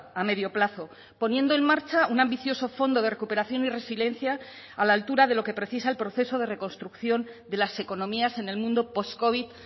a medio plazo poniendo en marcha un ambicioso fondo de recuperación y resiliencia a la altura de lo que precisa el proceso de reconstrucción de las economías en el mundo postcovid